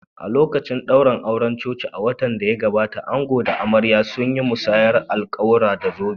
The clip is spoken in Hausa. A lokacin daurin auren cocin a watan da ya gabata, ango da amarya sun yi musayar alƙawura, da zobe.